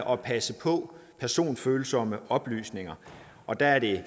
og passe på personfølsomme oplysninger og der er det